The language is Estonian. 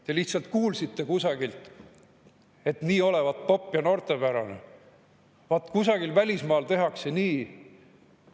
Te lihtsalt kuulsite kusagilt, et nii olevat popp ja noortepärane, vaat kusagil välismaal tehakse nii.